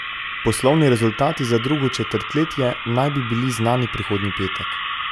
Poslovni rezultati za drugo četrtletje naj bi bili znani prihodnji petek.